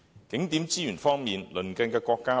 景點資源方面，先看看鄰近國家的情況。